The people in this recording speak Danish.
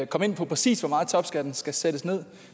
komme ind på præcis hvor meget topskatten skal sættes ned